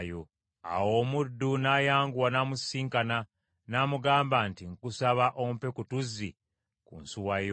Awo omuddu n’ayanguwa n’amusisinkana, n’amugamba nti, “Nkusaba ompe ku tuzzi ku nsuwa yo.”